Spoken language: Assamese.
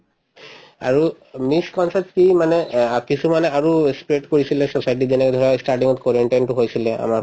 misconcept তো মানে অ কিছুমানে আৰু আছে ই spread কৰিছিলে society ত যেনেকে ধৰা ই starting ত quarantine তো হৈছিলে আমাৰ